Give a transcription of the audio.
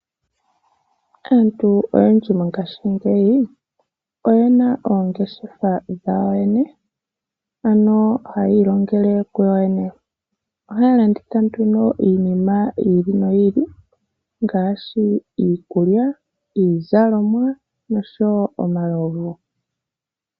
Aantu oyendji mongaashingeyi oye na oongeshefa dhawo yene ano hayi ilongele kuyo yene. Ohaya landitha iinima ya yooloka ngaashi iikulya, iizalomwa noshowo omalovu.